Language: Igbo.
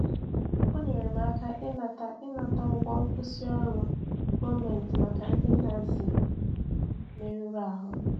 O nyere m aka ịnata ịnata ụgwọ nkwụsị ọrụ gọọmentị maka ndị Nazi merụrụ ahụ.